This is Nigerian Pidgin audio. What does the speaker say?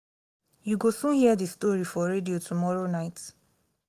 you go soon hear the story for radio tomorrow night